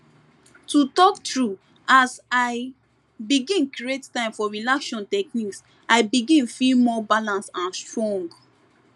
to talk true as i begin create time for relaxation technique i begin feel more balance and strong